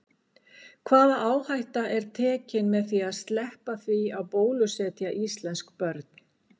Hvaða áhætta er tekin með því að sleppa því að bólusetja íslensk börn?